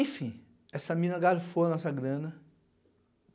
Enfim, essa mina garfou a nossa grana.